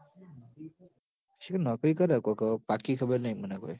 શીખર નોકરી કર હ કોક પાકી ખબર નઈ મન હવ